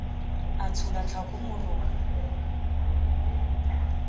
a tshola tlhako morong a